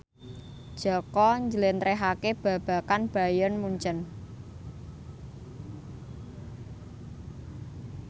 Jaka njlentrehake babagan Bayern Munchen